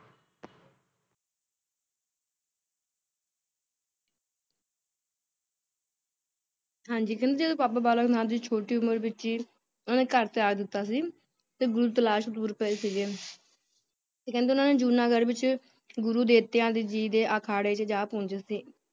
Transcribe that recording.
ਹਾਂਜੀ ਕਹਿੰਦੇ ਜਦੋ ਬਾਬਾ ਬਾਲਕ ਨਾਥ ਜੀ ਛੋਟੀ ਉਮਰ ਵਿੱਚ ਹੀ ਉਹਨਾਂ ਨੇ ਘਰ ਤਿਆਗ ਦਿੱਤਾ ਸੀ ਤੇ ਗੁਰੂ ਤਲਾਸ਼ ਤੁਰ ਪਏ ਸੀਗੇ ਕਹਿੰਦੇ ਓਹਨਾ ਨੇ ਜੂਨਾਗੜ੍ਹ ਵਿੱਚ ਗੁਰੂ ਦੇਵਤਿਆਂ ਜੀ ਦੇ ਅਖਾੜੇ ਜਾ ਪਹੁੰਚੇ ਸੀ।